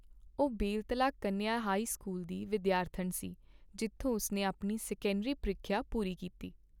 ਉਹ Beltala Kanya high school ਦੀ ਵਿਦਿਆਰਥਣ ਸੀ, ਜਿੱਥੋਂ ਉਸਨੇ ਆਪਣੀ ਸੈਕੰਡਰੀ ਪ੍ਰੀਖਿਆ ਪੂਰੀ ਕੀਤੀ।